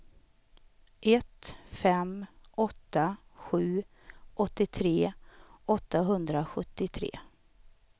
ett fem åtta sju åttiotre åttahundrasjuttiotre